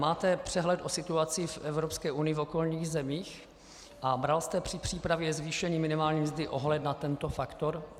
Máte přehled o situaci v Evropské unii, v okolních zemích a bere se při přípravě zvýšení minimální mzdy ohled na tento faktor?